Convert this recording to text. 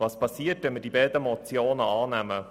Was geschieht, wenn wir die beiden Motionen annehmen.